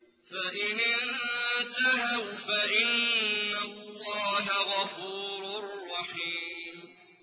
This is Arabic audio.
فَإِنِ انتَهَوْا فَإِنَّ اللَّهَ غَفُورٌ رَّحِيمٌ